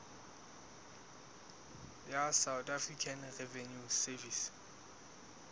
ya south african revenue service